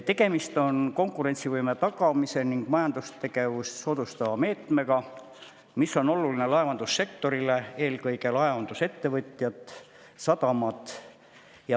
Tegemist on konkurentsivõime tagamise ning majandustegevust soodustava meetmega, mis on oluline laevandussektorile, eelkõige laevandusettevõtjatele ja sadamatele.